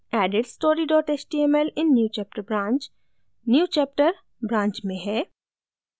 added story html in newchapter branch newchapter branch में है